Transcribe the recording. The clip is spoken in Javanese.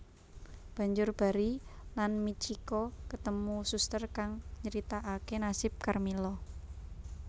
Banjur Barry lan Mitchiko ketemu suster kang nryitakake nasib Karmila